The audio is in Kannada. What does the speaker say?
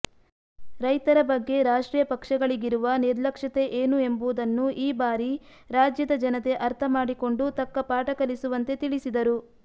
ರೈತರ ಬಗ್ಗೆ ರಾಷ್ಟ್ರೀಯ ಪಕ್ಷಗಳಿಗಿರುವ ನಿರ್ಲಕ್ಷ್ಯತೆ ಏನು ಎಂಬುದನ್ನು ಈ ಬಾರಿ ರಾಜ್ಯದ ಜನತೆ ಅರ್ಥಮಾಡಿಕೊಂಡು ತಕ್ಕ ಪಾಠಕಲಿಸುವಂತೆ ತಿಳಿಸಿದರು